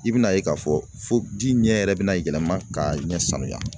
I bɛna ye k'a fɔ fo ji ɲɛ yɛrɛ bɛna yɛlɛma ka ɲɛ sanuya